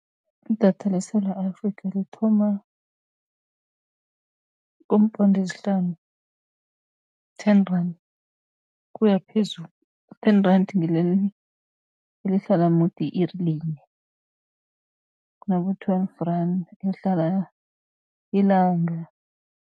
Idatha leSewula Afrikha, lithoma kuumponde ezihlanu ten rand kuya phezulu. Ten rand ngileli elihlala mudi i-iri linye, kunabo twelve rand elihlala ilanga.